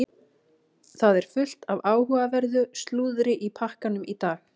Það er fullt af áhugaverðu slúðri í pakkanum í dag.